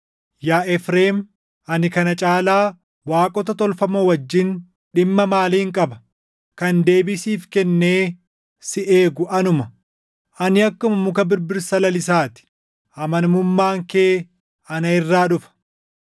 Yaa Efreem, ani kana caalaa // waaqota tolfamoo wajjin dhimma maaliin qaba? Kan deebii siif kennee si eegu anuma. Ani akkuma muka birbirsa lalisaa ti; amanamummaan kee ana irraa dhufa.”